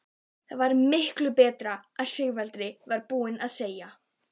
Það var miklu betra en Sigvaldi var búinn að segja.